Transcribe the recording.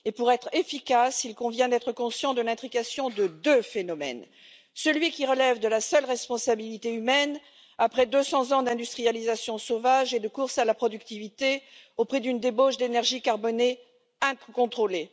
Et pour être efficace, il convient d'être conscient de l'intrication de deux phénomènes. Le premier relève de la seule responsabilité humaine, après 200 ans d'industrialisation sauvage et de course à la productivité, avec une débauche d'énergie carbonée incontrôlée.